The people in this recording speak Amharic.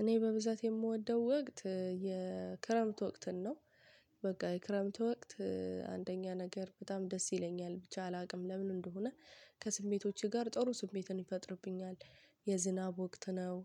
እኔ በብዛት የምወደው ወቅት የክረምት ወቅትን ነው። በቃ የክረምት ወቅት አንደኛ ነገር በጣም ደስ ይለኛል ብቻ አላውቅም ለምን እንደሆነ። ከስሜቶቼ ጋር ጥሩ ስሜትን ይፈጥርብኛል። የዝናብ ወቅት ነው።